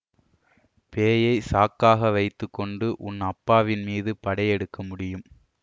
பேயை சாக்காக வைத்து கொண்டு உன் அப்பாவின் மீது படை எடுக்க முடியும்